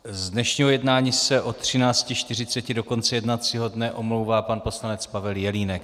Z dnešního jednání se od 13.40 do konce jednacího dne omlouvá pan poslanec Pavel Jelínek.